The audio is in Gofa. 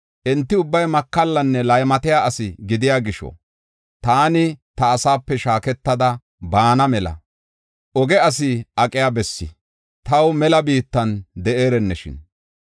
Enti ubbay makallanne laymatiya asi gidiya gisho, taani ta asaape shaaketada baana mela, oge asi aqiya bessi, taw mela biittan de7ereneshin.